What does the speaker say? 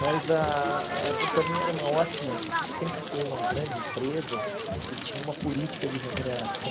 Mas ah a companhia era uma ótima, sempre foi uma grande empresa e tinha uma política de remuneração.